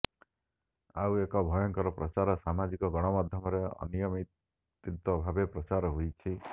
ଆଉ ଏକ ଭୟର ପ୍ରଚାର ସାମାଜିକ ଗଣମାଧ୍ୟମରେ ଅନିୟନ୍ତ୍ରିତ ଭାବେ ପ୍ରଚାର ହେଉଛି